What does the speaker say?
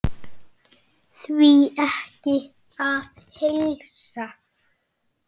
Því er ekki að heilsa.